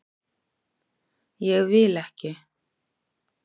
Ég vil ekki.